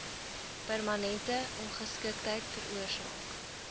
permanente ongeskiktheid veroorsaak